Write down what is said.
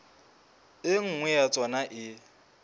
e nngwe ya tsona e